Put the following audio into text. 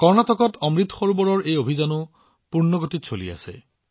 কৰ্ণাটকত অমৃত সৰোবৰৰ এই অভিযানো পূৰ্ণ গতিত চলি আছে